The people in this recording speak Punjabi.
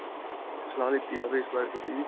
ਸਲਾਹ ਲੀਤੀ ਜਾਵੇ ਇਸ ਬਾਰੇ ਥੋੜੀ ਜਿਹੀ.